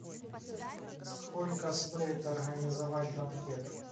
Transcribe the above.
сколько стоит организовать банкет